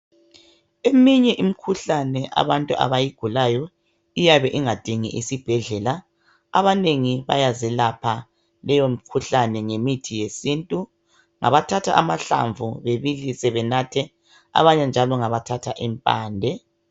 Eminye imikhuhlane abantu abayigulayo iyabe ingadingi isibhedlela abanengi bayezelapha ngemithi yesintu ngabathatha amahlamvu bebilise benathe abanye njalo ngabathatha impande.